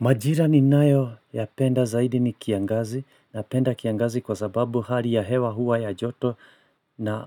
Majira ninayo ya penda zaidi ni kiangazi na penda kiangazi kwa sababu hali ya hewa huwa ya joto na